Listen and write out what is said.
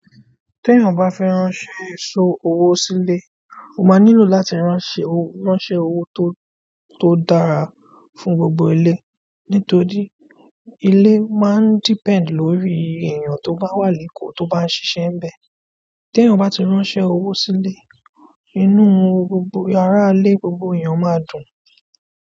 Tí èèyàn bá fẹ́ ránṣẹ́ èso owó sílé, ó máa nílò láti ránṣẹ́ owó tó, tó dára fún gbogbo ìle. Nítorí, ilé máa ń depend lórí èyàn tó bá wà l'eko tó bá ń ṣiṣẹ níbẹ̀. Teyan bati ránṣẹ́ owó sílé, inú gbogbo ara ilé gbogbo èyàn máa dùn.